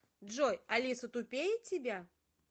джой алиса тупее тебя